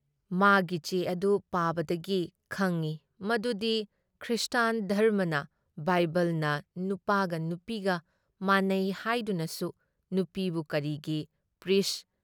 ꯃꯥꯒꯤ ꯆꯦ ꯑꯗꯨ ꯄꯥꯕꯗꯒꯤ ꯈꯪꯏ ꯃꯗꯨꯗꯤ ꯈ꯭ꯔꯤꯁꯇꯥꯟ ꯙꯔꯝꯃꯅ ꯕꯥꯏꯕꯜꯅ ꯅꯨꯄꯥꯒ ꯅꯨꯄꯤꯒ ꯃꯥꯟꯅꯩ ꯍꯥꯏꯗꯨꯅꯁꯨ ꯅꯨꯄꯤꯕꯨ ꯀꯔꯤꯒꯤ ꯄ꯭ꯔꯤꯁꯠ